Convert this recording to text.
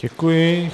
Děkuji.